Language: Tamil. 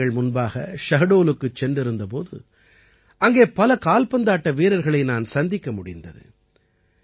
சில வாரங்கள் முன்பாக ஷஹ்டோலுக்கு சென்றிருந்த போது அங்கே பல கால்பந்தாட்ட வீரர்களை நான் சந்திக்க முடிந்தது